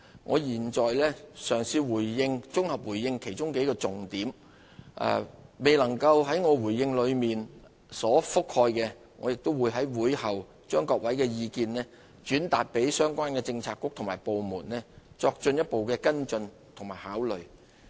我現在嘗試綜合回應其中數個重點，我的回應中未有覆蓋的，我會在會後把各位的意見轉達相關的政策局和部門，作進一步跟進和考慮。